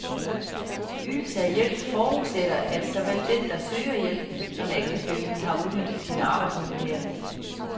Ydelse af hjælp forudsætter, at såvel den, der søger hjælpen, som ægtefællen har udnyttet sine arbejdsmuligheder.